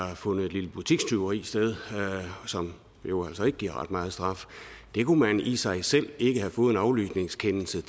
har fundet et lille butikstyveri sted som jo altså ikke giver ret meget straf det kunne man ikke i sig selv have fået en aflytningskendelse